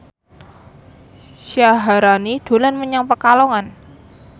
Syaharani dolan menyang Pekalongan